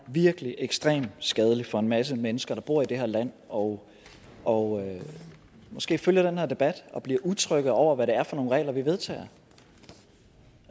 virkelig er ekstremt skadeligt for en masse mennesker der bor i det her land og og måske følger den her debat og bliver utrygge over hvad det er for nogle regler vi vedtager